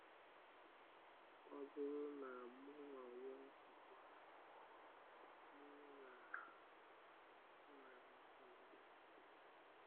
“Ọ bụrụ na mụ anwụọ ugbu a n’ị́gha a, enwere m afọ ojuju.”